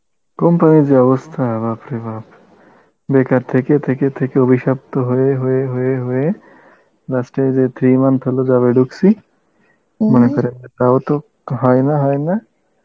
company এর যা অবস্থা বাপ রে বাপ, বেকার থেকে থেকে থেকে অভিশপ্ত হয়ে হয়ে হয়ে হয়ে last এ যে three month হলো job এ ঢুকছি মনে করেন তাও তো হয় না হয় না